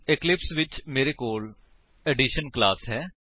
Eclipse ਵਿੱਚ ਮੇਰੇ ਕੋਲ ਐਡੀਸ਼ਨ ਕਲਾਸ ਹੈ